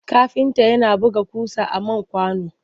Kafinta yana buga ƙusa a man kwano.